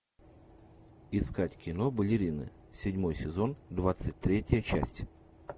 искать кино балерины седьмой сезон двадцать третья часть